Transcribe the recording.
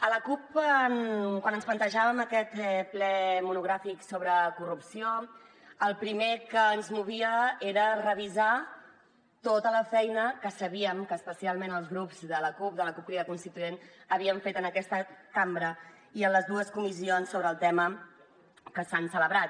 a la cup quan ens plantejàvem aquest ple monogràfic sobre corrupció el primer que ens movia era revisar tota la feina que sabíem que especialment els grups de la cup de la cup crida constituent havíem fet en aquesta cambra i en les dues comissions sobre el tema que s’han celebrat